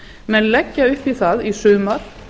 menn leggja upp í það í sumar